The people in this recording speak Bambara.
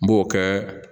N b'o kɛ